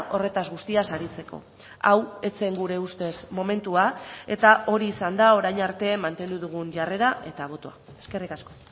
horretaz guztiaz aritzeko hau ez zen gure ustez momentua eta hori izan da orain arte mantendu dugun jarrera eta botoa eskerrik asko